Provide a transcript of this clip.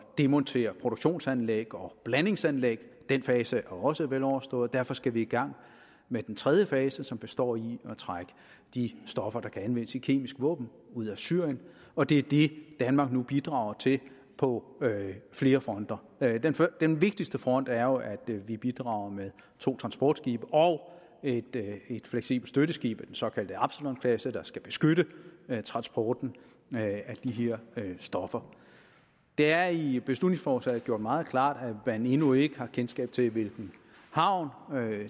demontere produktionsanlæg og blandingsanlæg den fase er også veloverstået og derfor skal vi i gang med den tredje fase som består i at trække de stoffer der kan anvendes i kemiske våben ud af syrien og det er det danmark nu bidrager til på flere fronter den vigtigste front er jo at vi bidrager med to transportskibe og et fleksibelt støtteskib af den såkaldte absalon klasse der skal beskytte transporten af de her stoffer det er i beslutningsforslaget gjort meget klart at man endnu ikke har kendskab til hvilken havn